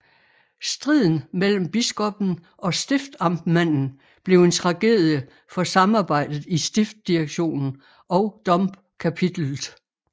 Striden mellem biskoppen og stiftamtmanden blev en tragedie for samarbejdet i stiftdirektionen og Domkapitellet